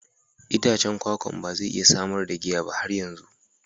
Itacen kwakwan ba zai iya samar da giya ba har yanzu.